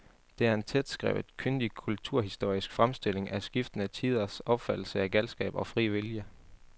Det er en tætskrevet, kyndig kulturhistorisk fremstilling af skiftende tiders opfattelse af galskab og fri vilje.